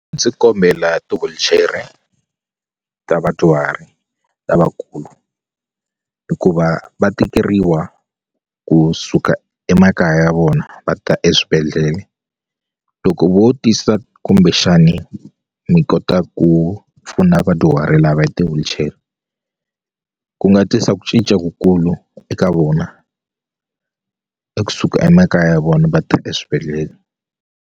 Ndzi kombela ti-wheelchair-e ta vadyuhari lavakulu hikuva va tikeriwa kusuka emakaya ya vona va ta eswibedhlele loko vo tisa kumbexani mi kota ku pfuna vadyuhari lava hi ti-wheelchair ku nga tisa ku cinca kukulu eka vona eku suka emakaya ya vona va ta eswibedhlele.